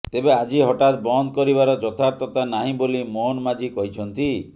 ତେବେ ଆଜି ହଠାତ୍ ବନ୍ଦ କରିବାର ଯଥାର୍ଥତା ନାହିଁ ବୋଲି ମୋହନ ମାଝୀ କହିଛନ୍ତି